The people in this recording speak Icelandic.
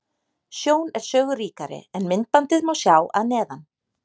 Sjón er sögu ríkari, en myndbandið má sjá að neðan.